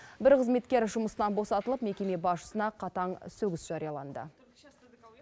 бір қызметкер жұмысынан босатылып мекеме басшысына қатаң сөгіс жарияланды